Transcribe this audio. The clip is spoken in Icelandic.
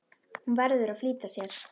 Hún verður að flýta sér.